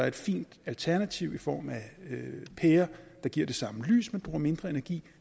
et fint alternativ i form af pærer der giver det samme lys men bruger mindre energi